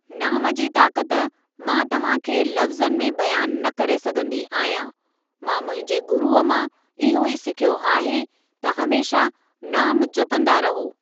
नाम जी ताक़त मां तव्हां खे लबज़नि में बयानु न करे सघंदी आहियां, मां मुंहिंजे गुरुअ मां इहो ई सिखियो आहे त हमेशा नामु जपंदा रहो।